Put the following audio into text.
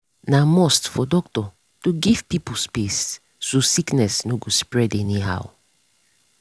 na must for doctor to give pipo space so sickness no go spread anyhow.